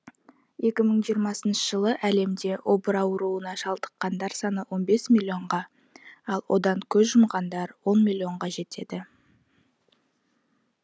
екі мың жиырмасыншы жылы әлемде обыр ауруына шалдыққандар саны он бес миллионға ал одан көз жұмғандар он миллионға жетеді